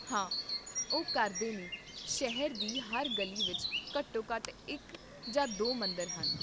ਹਾਂ ਓਹ ਕਰਦੇ ਨੇ ਸ਼ਹਿਰ ਦੀ ਹਰ ਗਲੀ ਵਿੱਚ ਘੱਟੋ ਘੱਟ ਇੱਕ ਜਾਂ ਦੋ ਮੰਦਰ ਹਨ